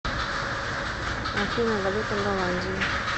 афина валюта голландии